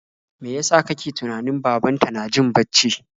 Mai yasa ka ke tunanin babanta na jin bacci?